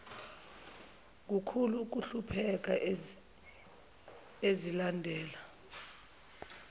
kukhulu ukuhlupheka azilandela